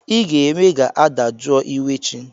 Ị ga-eme ga-adajụọ iwe chi!